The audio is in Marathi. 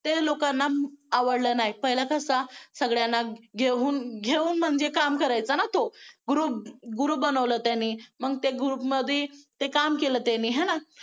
ते लोकांना आवडलं नाही पहिला कसं सगळ्यांना घेऊन घेऊन म्हणजे काम करायचा ना तो group बनवलं त्यांनी मग ते group मध्ये काम केलं त्यांनी आहे ना